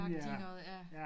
Agtig noget ja